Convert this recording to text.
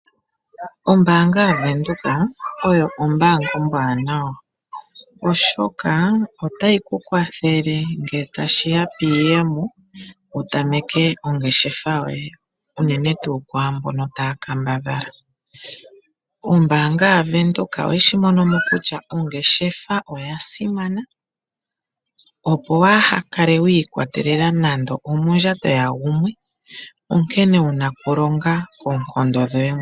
Ombaanga yaVenduka oyo ombaanga ombwaanawa oshoka otayi ku kwathele ngele tashi ya kiiyemo wu tameke ongeshefa yoye unene tuu kwaambono taya kambadhala. Ombaanga yaVenduka oye shi mono. mo kutya ongeshefa oya simana, opo waa kale wiikwatelele nande omondjato yagumwe onkene wuna okulonga koonkondo dhoye mwene.